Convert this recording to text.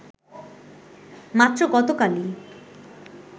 মাত্র গতকালই